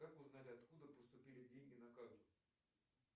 как узнать откуда поступили деньги на карту